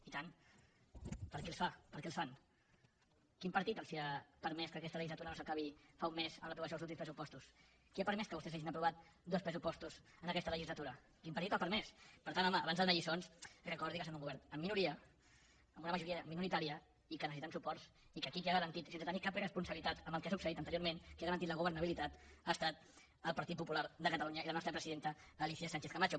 i tant per a qui els fa per què els fan quin partit els ha permès que aquesta legislatura no s’acabi fa un mes en l’aprovació dels últims pressupostos qui ha permès que vostès hagin aprovat dos pressupostos en aquesta legislatura quin partit ho ha permès per tant home abans de donar lliçons recordi que són un govern en minoria amb una majoria minoritària i que necessiten suports i que aquí qui ha garantit sense tenir cap responsabilitat amb el que ha succeït anteriorment qui ha garantit la governabilitat ha estat el partit popular de catalunya i la nostra presidenta alícia sánchez camacho